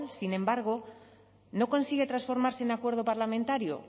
sin embargo no consigue transformarse en un acuerdo parlamentario